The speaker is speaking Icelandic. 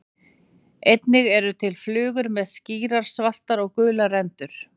Einnig eru til flugur með skýrar svartar og gular rendur.